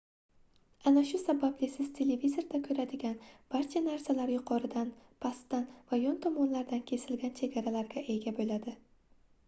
ana shu sababli siz televizorda koʻradigan barcha narsalar yuqoridan pastdan va yon tomonlardan kesilgan chegaralarga ega boʻladi